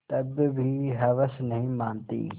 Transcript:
तब भी हवस नहीं मानती